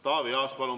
Taavi Aas, palun!